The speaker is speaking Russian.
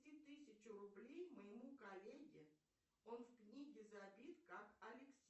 переведи тысячу рублей моему коллеге он в книге забит как алексей